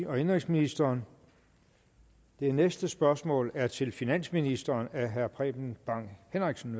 og indenrigsministeren det næste spørgsmål er til finansministeren af herre preben bang henriksen